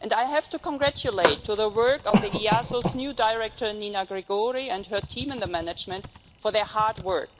and I have to congratulate the new Director of the European Asylum Support Office Nina Gregori, and her team and management for their hard work.